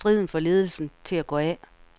Striden fik ledelsen til at gå af.